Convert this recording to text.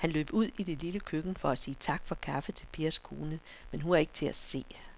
Han løb ud i det lille køkken for at sige tak for kaffe til Pers kone, men hun var ikke til at se.